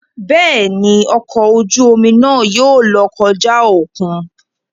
Béèni, ọkọ oju omi náà yóò lọ kọja okùn